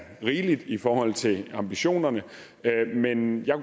rigeligt i forhold til ambitionerne men jeg